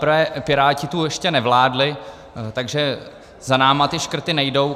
Zaprvé Piráti tu ještě nevládli, takže za námi ty škrty nejdou.